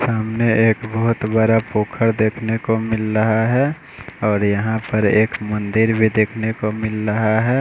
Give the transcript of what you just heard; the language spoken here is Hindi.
सामने एक बहुत बड़ा पोखर देखने को मिल रहा है और यहाँ पर एक मंदिर भी देखने को मिल रहा है।